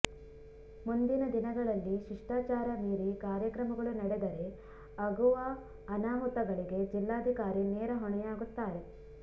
ಮುಂದಿನ ದಿನಗಳಲ್ಲಿ ಶಿಷ್ಟಾಚಾರ ಮೀರಿ ಕಾರ್ಯಕ್ರಮಗಳು ನಡೆದರೆ ಅಗುವ ಅನಾಹುತಗಳಿಗೆ ಜಿಲ್ಲಾಧಿಕಾರಿ ನೇರ ಹೊಣೆಯಾಗುತ್ತಾರೆ